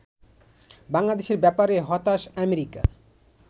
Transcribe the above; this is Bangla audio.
বাংলাদেশের ব্যাপারে হতাশ আমেরিকা